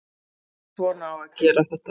Svona á að gera þetta